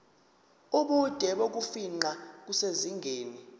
ubude bokufingqa kusezingeni